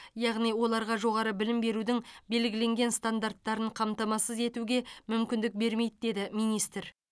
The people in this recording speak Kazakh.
яғни оларға жоғары білім берудің белгіленген стандарттарын қамтамасыз етуге мүмкіндік бермейді деді министр